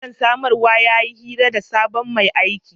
Manajan samarwa ya yi hira da sabon mai aiki.